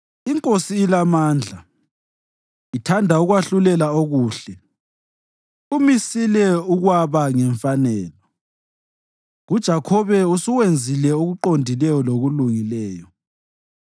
INkosi ilamandla, ithanda ukwahlulela okuhle umisile ukwaba ngemfanelo; kuJakhobe usuwenzile okuqondileyo lokulungileyo.